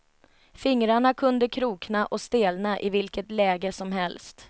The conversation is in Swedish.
Fingrarna kunde krokna och stelna i vilket läge som helst.